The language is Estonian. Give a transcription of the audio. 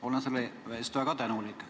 Olen selle eest väga tänulik.